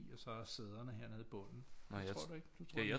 Og så sæderne hernede i bundet det tror du ikke